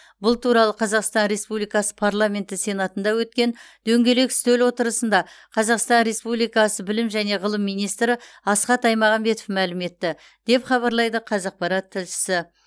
бұл туралы қазақсан республикасы парламенті сенатында өткен дөңгелек үстел отырысында қазақсан республикасы білім және ғылым министрі асхат аймағамбетов мәлім етті деп хабарлайды қазақпарат тілшісі